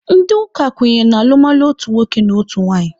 Ndị ụka kwenyere na alụmalụ otu nwoke na otu nwaanyị.